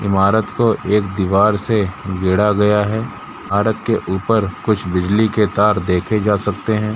ईमारत को एक दिवार से घेरा गया है सड़क के ऊपर कुछ बिजली के तार देखे जा सकते हैं।